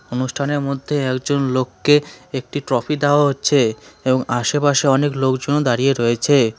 অনুষ্ঠানের মধ্যে একজন লোককে একটি ট্রফি দেওয়া হচ্ছে এবং আশেপাশে অনেক লোকজনও দাঁড়িয়ে রয়েছে।